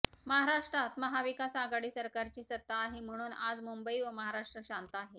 महाराष्ट्रात महाविकास आघाडी सरकारची सत्ता आहे म्हणून आज मुंबई व महाराष्ट्र शांत आहे